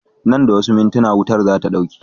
Nan da wasu mintina wutar zata ɗauke